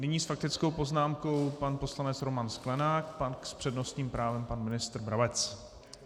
Nyní s faktickou poznámkou pan poslanec Roman Sklenák, pak s přednostním právem pan ministr Brabec.